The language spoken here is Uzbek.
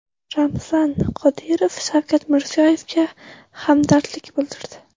Ramzan Qodirov Shavkat Mirziyoyevga hamdardlik bildirdi.